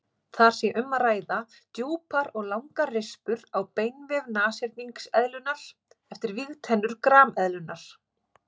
Þar sé um að ræða djúpar og langar rispur á beinvef nashyrningseðlunnar eftir vígtennur grameðlunnar.